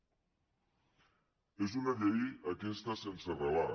és una llei aquesta sense relat